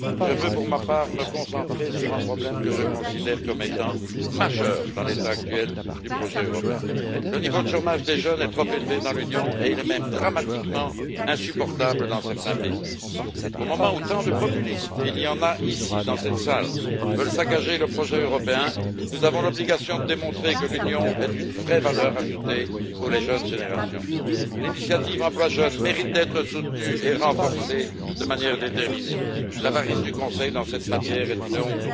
Je veux, pour ma part, me concentrer sur un problème que je considère comme étant essentiel dans l'état actuel du projet européen le niveau du chômage des jeunes est trop élevé dans l'Union et il est même dramatiquement insupportable dans certains pays. Au moment où tant de populistes et il y en a ici dans cette salle veulent saccager le projet européen, nous avons l'obligation de démontrer que l'Union est une vraie valeur ajoutée pour les jeunes générations. L'initiative pour l'emploi des jeunes mérite d'être résolument soutenue et renforcée. L'avarice du Conseil dans cette matière est une honte.